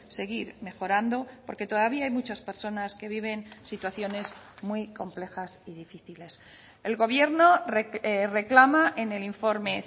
seguir mejorando porque todavía hay muchas personas que viven situaciones muy complejas y difíciles el gobierno reclama en el informe